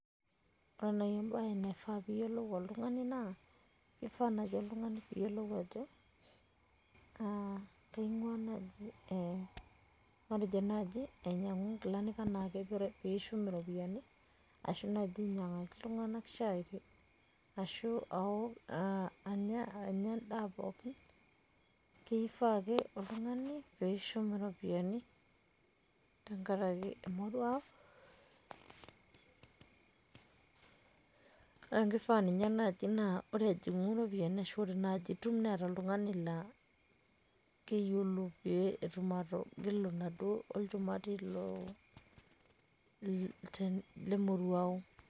ore naaji ebae naifaa pee iyiolou oltungani naa, kifaa naaji oltungani pee iyiolu ajo, kaing'uaa naaji, matejo naaji ainyiang'u nkilani anaa pee ishu iropiyiani. ashu naaji ainyiang'u iltungan shai. ashu aok, anya edaa pookin. kifaa ake oltungani pee ishum iropiyiani tenkaraki emoruao. naa kifaa ninye naaji ore ejingu iropiyiani, kifaa naa keeta oltungani oyiolo pee etuma atigilu inaduoo olchumati lemoruao.